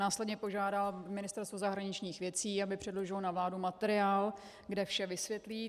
Následně požádá Ministerstvo zahraničních věcí, aby předložilo na vládu materiál, kde vše vysvětlí.